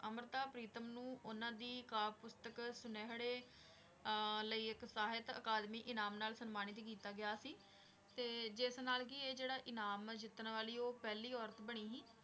ਅੰਮ੍ਰਿਤਾ ਪ੍ਰੀਤਮ ਨੂੰ ਉਹਨਾਂ ਦੀ ਕਾਵਿ ਪੁਸਤਕ ਸੁਨੇਹੜੇ ਅਹ ਲਈ ਇੱਕ ਸਾਹਿਤ ਅਕਾਦਮੀ ਇਨਾਮ ਨਾਲ ਸਨਮਾਨਿਤ ਕੀਤਾ ਗਿਆ ਸੀ, ਤੇ ਜਿਸ ਨਾਲ ਕਿ ਇਹ ਜਿਹੜਾ ਇਨਾਮ ਜਿੱਤਣ ਵਾਲੀ ਉਹ ਪਹਿਲੀ ਔਰਤ ਬਣੀ ਸੀ।